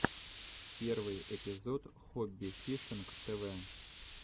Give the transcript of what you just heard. первый эпизод хобби фишинг тв